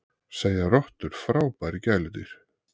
Segja rottur frábær gæludýr